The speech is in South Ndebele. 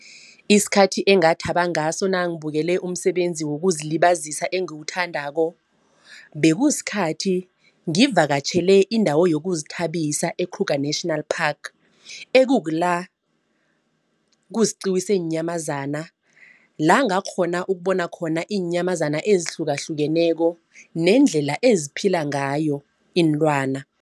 Isikhathi engathaba ngaso nangibukele umsebenzi wokuzilibazisa engiwuthandako. Bekusikhathi ngivakatjhele indawo yokuzithabisa e-Kruger National Park ekukula kusiqiwa zeenyamazana. La ngakghona ukubona khona iinyamazana ezihlukahlukeneko nendlela eziphila ngayo iinlwana.